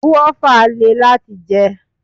Guava lè láti jẹ.